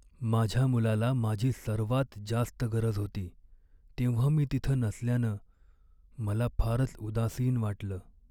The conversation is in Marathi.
माझ्या मुलाला माझी सर्वात जास्त गरज होती, तेव्हा मी तिथं नसल्यानं मला फारच उदासीन वाटलं.